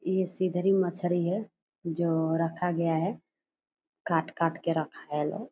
ये सिधरी मच्छरी है जो रखा गया है काट-काट के रखाएल है।